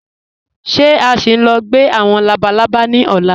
Ṣé à sì ń lọ̀ gbẹ̀ awọn labàlábà ni ọ̀lá?